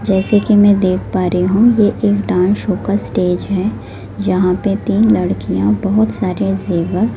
जैसे कि मैं देख पा रही हूं ये एक डांस शो का स्टेज है जहां पे तीन लड़कियां बहुत सारे जेवर--